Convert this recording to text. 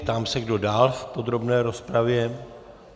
Ptám se, kdo dál v podrobné rozpravě.